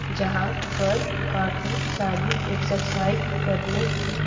जहां पर काफी सारी एक्सरसाइज करने की--